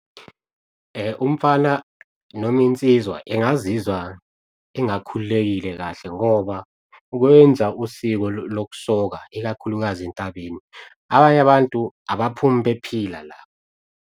Umfana noma insizwa engazizwa engakhululekile kahle ngoba ukwenza usiko lokusoka ikakhulukazi entabeni, abanye abantu abaphumi bephila la.